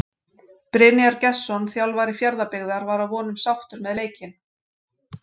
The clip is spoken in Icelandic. Brynjar Gestsson þjálfari Fjarðabyggðar var að vonum sáttur með leikinn.